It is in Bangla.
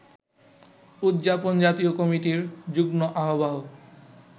উদযাপন জাতীয় কমিটির যুগ্ম আহ্বায়ক